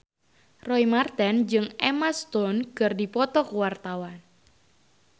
Roy Marten jeung Emma Stone keur dipoto ku wartawan